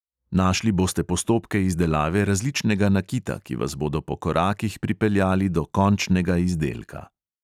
Našli boste postopke izdelave različnega nakita, ki vas bodo po korakih pripeljali do končnega izdelka.